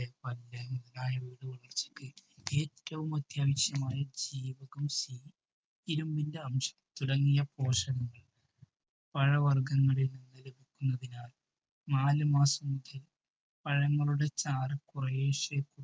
ഏറ്റവും അത്യാവശ്യമായി ജീവകം C ഇരുമ്പിന്റെ അംശം തുടങ്ങിയ പോഷകങ്ങൾ പഴവർഗങ്ങളിൽ നിന്ന് ലഭിക്കുന്നതിനാൽ നാലുമാസം മുതൽ പഴങ്ങളുടെ ചാറ് കുറേശ്ശേ